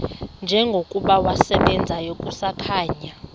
njengokuba wasebenzayo kusakhanya